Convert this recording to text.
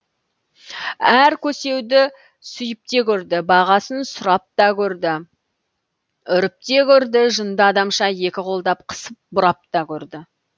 әр көсеуді сүйіпте көрді бағасын сұрап та көрді үріп те көрді жынды адамша екі қолдап қысып бұрап та көрді